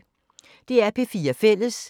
DR P4 Fælles